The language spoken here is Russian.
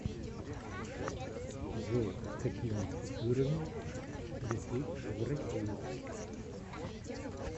джой с какими купюрами лететь в россию